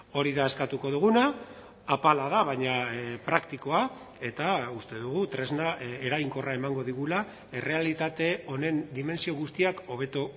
hori da eskatuko duguna apala da baina praktikoa eta uste dugu tresna eraginkorra emango digula errealitate honen dimentsio guztiak hobeto